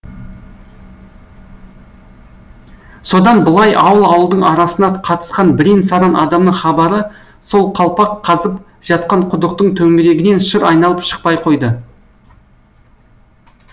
содан былай ауыл ауылдың арасына қатысқан бірең сараң адамның хабары сол қалпақ қазып жатқан құдықтың төңірегінен шыр айналып шықпай қойды